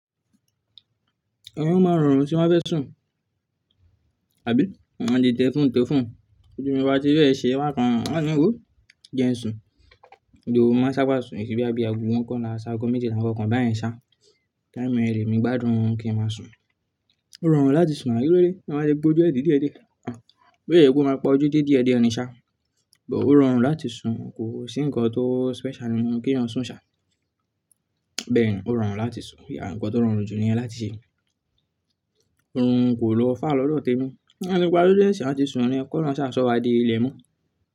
Èmi máa ń rọrùn tí mo bá fẹ́ sùn, àbí? Máa ti tẹ̀ phone tẹ̀ phone, tí ojú mi bá ti fẹ́ ṣe bákan wo jẹ n sùn, ìhòhò máa ń sábà sùn, kì ṣe bí ago ago mọ́kànlá sí ago méjìlá, àwọn ǹkankan báyẹn ṣá. Time yẹn le mi gbádùn kin máa sùn. Ó rọrùn láti sùn now, kílódé tẹ́yàn balẹ̀ pa ojú ẹ de dìde dìde. Bó yẹ kó máa pa ojú díẹ̀ díẹ̀ ni ṣá, ṣùgbọ́n ó rọrùn láti sùn, kò sí nǹkan tó special nínú kí èèyàn sùn ṣá. Bẹ́ẹ̀ ni ó rọrùn láti sùn. Ǹkan tó rọrùn jù ni yẹn láti ṣe. Òórùn kò lo far lọ́dọ̀ témi, tí mo bá ti paju de n sin, a ti sùn ni, kí Ọlọ́run ṣá sọ wá di ilẹ̀ mọ́.